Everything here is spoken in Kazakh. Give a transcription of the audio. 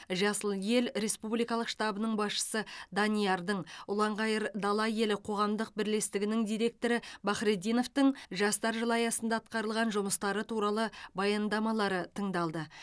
жасыл ел республикалық штабының басшысы даниярдың ұланғайыр дала елі қоғамдық бірлестігінің директоры бахретдиновтың жастар жылы аясында атқарылған жұмыстары туралы баяндамалары тыңдалды